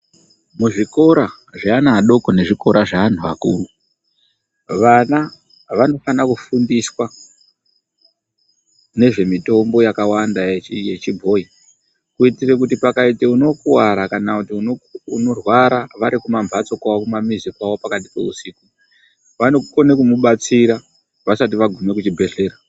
Muzvikora zveana adoko nezvikora zveanhu akuru, vana vanofanira kufundiswa nezvemitombo yakawanda yechibhoyi. Kuitire kuti pakaite unokuwara kana kuti unorwara vari kumambatso kwavo kumamizi kwavo pakati peusiku, vanokone kumubatsira vasati vagume kuchibhedhlera.